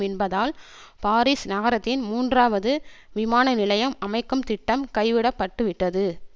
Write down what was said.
என்பதால் பாரீஸ் நகரத்தின் மூன்றாவது விமான நிலையம் அமைக்கும் திட்டம் கைவிட பட்டுவிட்டது